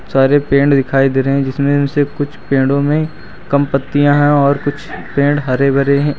सारे पेड़ दिखाई दे रहे हैं जिसमें उनसे से कुछ पेड़ों में कम पत्तियां हैं और कुछ पेड़ हरे भरे हैं।